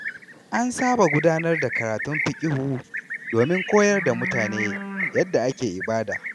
An saba gudanar da karatun fiqihu domin koyar da mutane yadda ake ibada.